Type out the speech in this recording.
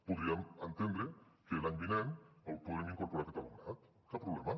podríem entendre que l’any vinent el podrem incorporar aquest alumnat cap problema